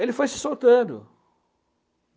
Ele foi se soltando.